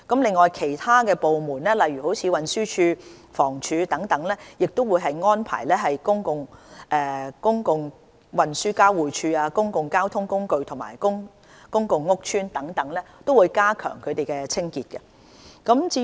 此外，其他部門如運輸署、房屋署等也會作出安排，以加強公共運輸交匯處、公共交通工具、公共屋邨等的清潔。